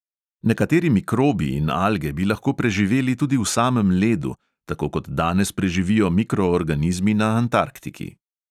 Nekateri mikrobi in alge bi lahko preživeli tudi v samem ledu, tako kot danes preživijo mikroorganizmi na antarktiki.